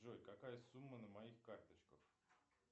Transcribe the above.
джой какая сумма на моих карточках